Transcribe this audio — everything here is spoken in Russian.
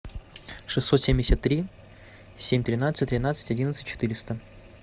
шестьсот семьдесят три семь тринадцать тринадцать одиннадцать четыреста